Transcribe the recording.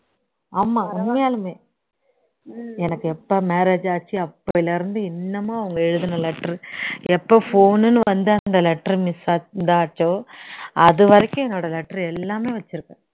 ஆமா உன்மையாலுமே எனக்கு எப்போ marriage ஆச்சு அப்போல இருந்து இன்னுமும் அவங்க எழுதுன letter எப்போ phone னுன்னு வந்து அந்த letter miss சா இதா ஆச்சோ அது வரைக்கும் என்னோட letter எல்லாமே வச்சிருக்கேன்